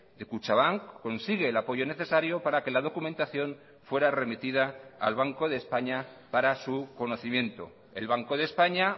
de kutxabank consigue el apoyo necesario para que la documentación fuera remitida al banco de españa para su conocimiento el banco de españa